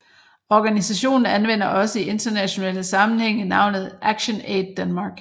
Organisationen anvender også i internationale sammenhænge navnet ActionAid Denmark